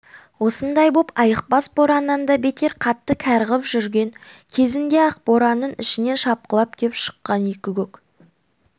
осындай боп айықпас бораннан да бетер қатты кәрғып жүрген кезінде ақ боранның ішінен шапқылап кеп шыққан екі көк